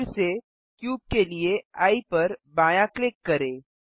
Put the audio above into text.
फिर से क्यूब के लिए एये पर बायाँ क्लिक करें